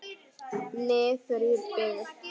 Niður í byggð.